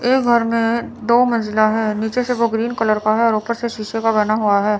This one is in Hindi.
यह घर में दो मंजिला है नीचे से वो ग्रीन कलर का है और ऊपर से शीशे का बना हुआ है।